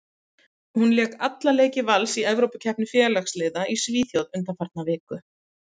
Hún lék alla leiki Vals í Evrópukeppni félagsliða í Svíþjóð undanfarna viku.